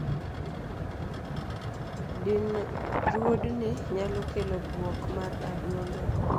Dinruodni nyalo kelo buok mar adundo.